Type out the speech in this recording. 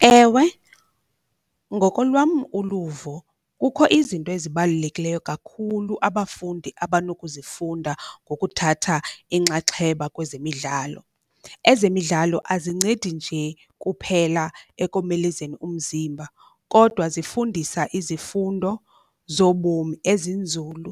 Ewe, ngokolwam uluvo kukho izinto ezibalulekileyo kakhulu abafundi abanokuzifunda ngokuthatha inxaxheba kwezemidlalo. Ezemidlalo azincedi nje kuphela ekomelezeni umzimba, kodwa zifundisa izifundo zobomi ezinzulu